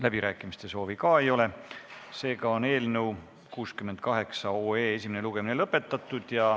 Läbirääkimiste soovi ka ei ole, seega on eelnõu 68 esimene lugemine lõpetatud.